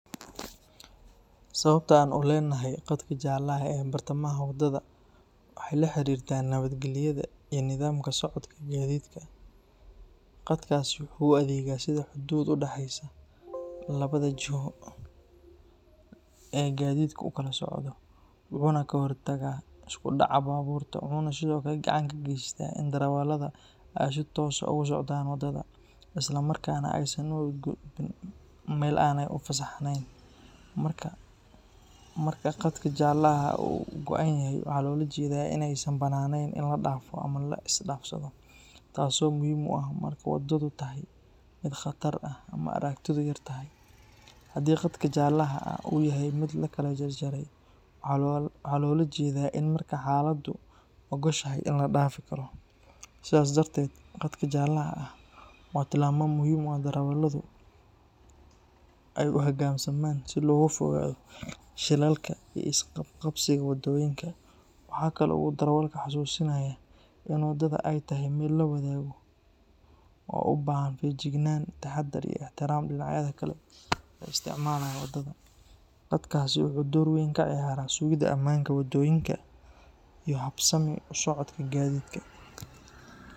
Sababta aan u leenahay qadka jaalaha ah ee bartamaha waddada waxay la xiriirtaa nabadgelyada iyo nidaamka socodka gaadiidka. Qadkaasi wuxuu u adeegaa sida xuduud u dhaxaysa labada jiho ee gaadiidku u kala socdo, wuxuuna ka hortagaa isku dhaca baabuurta. Wuxuu sidoo kale gacan ka geystaa in darawalladu ay si toosan ugu socdaan waddada, isla markaana aysan u gudbin meel aanay u fasaxnayn. Marka qadka jaalaha ah uu go’an yahay, waxaa loola jeedaa in aysan bannaaneen in la dhaafo ama la isdhaafsado, taasoo muhiim u ah marka waddadu tahay mid khatar ah ama aragtidu yartahay. Haddii qadka jaalaha ah uu yahay mid la kala jarjaray, waxaa loola jeedaa in marka xaaladdu oggoshahay la dhaafi karo. Sidaas darteed, qadka jaalaha ah waa tilmaame muhiim ah oo darawalladu ay u hoggaansamaan si looga fogaado shilalka iyo isqabqabsiga waddooyinka. Waxa kale oo uu darawalka xasuusinayaa in waddada ay tahay meel la wadaago oo u baahan feejignaan, taxaddar, iyo ixtiraam dhinacyada kale ee isticmaalaya waddada. Qadkaasi wuxuu door weyn ka ciyaaraa sugidda ammaanka waddooyinka iyo habsami u socodka gaadiidka.